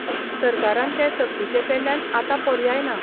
सरकारान तें सक्तीचें केल्ल्यान आतां पर्याय ना.